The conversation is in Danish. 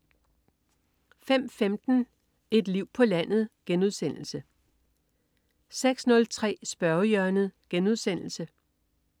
05.15 Et liv på landet* 06.03 Spørgehjørnet*